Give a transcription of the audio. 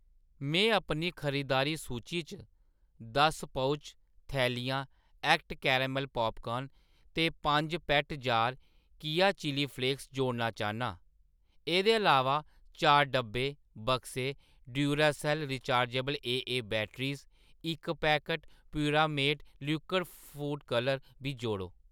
मैं अपनी खरीदारी सूची च दस पाउच, थैलियां एक्ट केरेमल पॉपकॉर्न ते पंज पैट्ट जार केया चिल्ली फ्लेक्स जोड़ना चाह्‌न्नां। एह्‌‌‌दे अलावा, चार डब्बे, बक्से Duracell rechargeable AA batteries, इक packet Puremate liquid food colours बी जोड़ो।